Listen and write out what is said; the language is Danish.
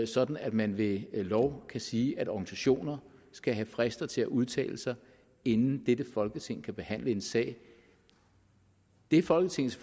sådan at man ved lov kan sige at organisationer skal have frister til at udtale sig inden dette folketing kan behandle en sag det folketinget